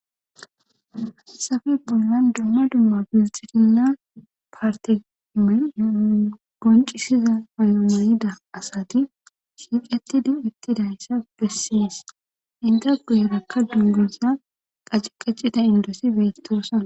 Safe bollan dumma dumma bisxirina parteme goncisiza ayomoyida asati shiiqetti din ittidayssa bessies inta goyerakka dungesa qaciqacida indosi beyttoosa